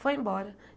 Foi embora.